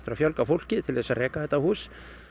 að fjölga fólki til þess að reka þetta hús